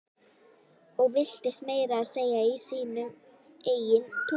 Og villtist meira að segja í sínu eigin túni.